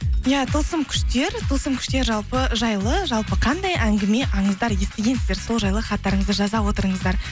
иә тылсым күштер тылсым күштер жайлы жалпы қандай әңгіме аңыздар естігенсіздер сол жайлы хаттарыңызды жаза отырыңыздар